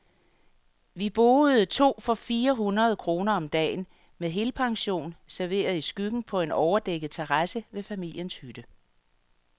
Vi boede to for fire hundrede kroner om dagen, med helpension, serveret i skyggen på en overdækket terrasse ved familiens hytte.